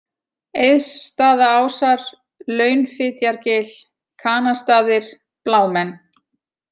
Eiðsstaðaásar, Launfitjargil, Kanastaðir, Blámenn